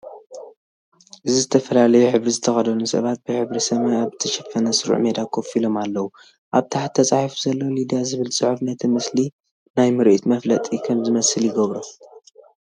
እዚ ዝተፈላለየ ሕብሪ ዝተኸድኑ ሰባት ብሕብሪ ሰማይ ኣብ ዝተሸፈነ ስሩዕ ሜዳ ኮፍ ኢሎም ኣለዉ። ኣብ ታሕቲ ተጻሒፉ ዘሎ "ሊድያ" ዝብል ጽሑፍ ነቲ ምስሊ ናይ ምርኢት መፈላጢ ከም ዝመስል ይገብሮ።